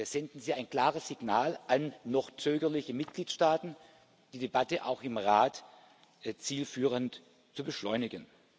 senden Sie ein klares Signal an noch zögerliche Mitgliedstaaten, die Debatte auch im Rat zielführend zu beschleunigen.